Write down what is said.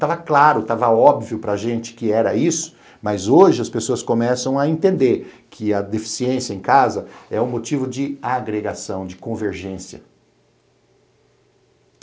Estava claro, estava óbvio para gente que era isso, mas hoje as pessoas começam a entender que a deficiência em casa é um motivo de agregação, de convergência.